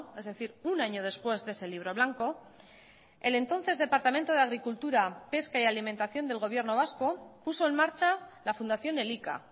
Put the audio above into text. es decir un año después de ese libro blanco el entonces departamento de agricultura pesca y alimentación del gobierno vasco puso en marcha la fundación elika